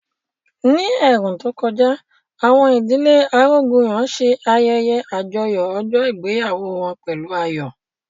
Ní ẹ̀ẹ̀rùn tó kọjá, àwọn ìdílé Arógunyọ̀ ṣe ayẹyẹ àjọyọ̀ ọjọ́ ìgbéyàwó wọn pẹ̀lú ayọ̀